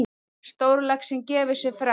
Stórlaxinn gefur sig fram.